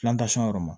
yɔrɔ ma